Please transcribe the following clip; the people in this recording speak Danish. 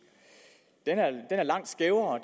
den er langt skævere